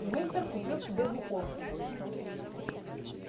уимпер купил себе двуколку